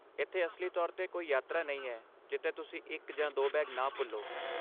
ਇੱਥੇ ਅਸਲੀ ਤੌਰ 'ਤੇ ਕੋਈ ਯਾਤਰਾ ਨਹੀਂ ਹੈ ਜਿੱਥੇ ਤੁਸੀਂ ਇੱਕ ਜਾਂ ਦੋ ਬੈਗ ਨਾ ਭੁੱਲੋ।